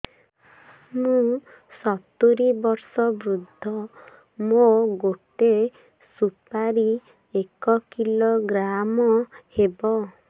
ମୁଁ ସତୂରୀ ବର୍ଷ ବୃଦ୍ଧ ମୋ ଗୋଟେ ସୁପାରି ଏକ କିଲୋଗ୍ରାମ ହେବ